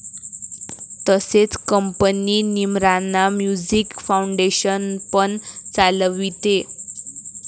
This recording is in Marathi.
तसेच कंपनी 'निमराना म्युझिक फाउंडेशन' पण चालविते.